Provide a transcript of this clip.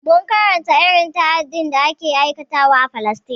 Mun karanta irin ta'adin da ake aikatawa a falastine